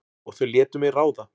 Og þau létu mig ráða.